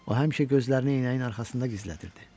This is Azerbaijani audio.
O həmişə gözlərini eynəyinin arxasında gizlədirdi.